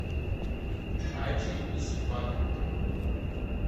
ачи и сипак